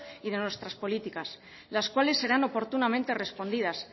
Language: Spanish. y de nuestras políticas las cuáles serán oportunamente respondidas